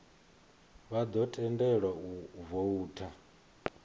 vha ḓo tendelwa u voutha